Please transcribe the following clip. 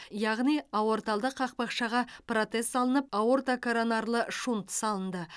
яғни аорталды қақпақшаға протез салынып аортокоронарлы шунт салынды